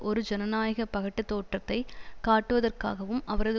ஒரு ஜனநாயக பகட்டுத் தோற்றத்தை காட்டுவதற்காகவும் அவரது